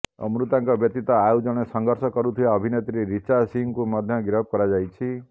ଅମୃତାଙ୍କ ବ୍ୟତୀତ ଆଉ ଜଣେ ସଂଘର୍ଷ କରୁଥିବା ଅଭିନେତ୍ରୀ ରିଚା ସିଂହଙ୍କୁ ମଧ୍ୟ ଗିରଫ କରାଯାଇଛି